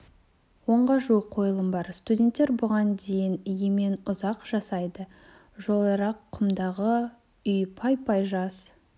онға жуық қойылым бар студенттер бұған дейін емен ұзақ жасайды жолайрық құмдағы үй пай-пай жас